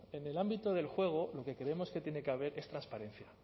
en el ámbito del juego lo que creemos que tiene que haber es transparencia